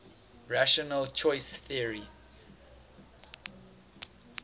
rational choice theory